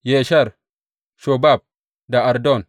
Yesher, Shobab da Ardon.